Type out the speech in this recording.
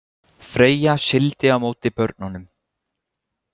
Freyja sigldi á móti börnunum.